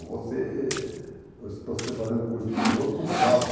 Eu vou ser, eu estou fazendo o curso de piloto como hobby.